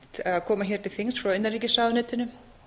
eftir að koma til þings frá innanríkisráðuneytinu